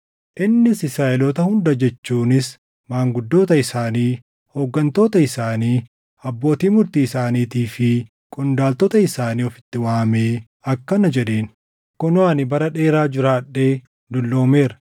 innis Israaʼeloota hunda jechuunis maanguddoota isaanii, hooggantoota isaanii, abbootii murtii isaaniitii fi qondaaltota isaanii ofitti waamee akkana jedheen: “Kunoo ani bara dheeraa jiraadhee dulloomeera.